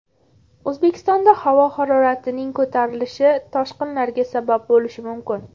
O‘zbekistonda havo haroratining ko‘tarilishi toshqinlarga sabab bo‘lishi mumkin.